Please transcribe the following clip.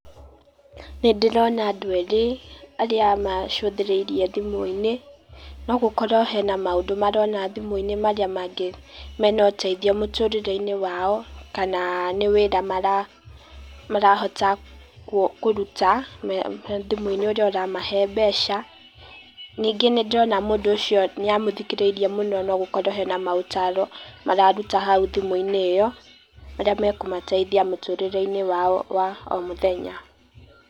Nĩ ndĩrona andũ erĩ, arĩa macuthĩrĩirie thimũ-inĩ, no gũkorwo hena maũndũ marona thimũ-inĩ marĩa mangĩ, mena ũteithio mũtũrĩre-inĩ wao kana nĩ wĩra marahota kũruta, thimũ-inĩ ũrĩa ũramahe mbeca. Ningĩ nĩ ndĩrona mũndũ ũcio nĩ amũthikĩrĩirie mũno no gũkorwo hena ma ũtaro mararuta hau thimũ-inĩ iyo, marĩa makũmũteithia mũtũrĩre-inĩ wao wa o mũthenya.